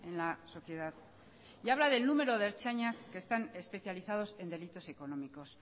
la sociedad y habla del número de ertzainas que están especializados en delitos económicos